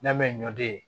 N'a mɛn ɲɔ den ye